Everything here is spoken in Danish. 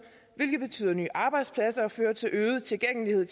hvilket betyder nye arbejdspladser og fører til øget tilgængelighed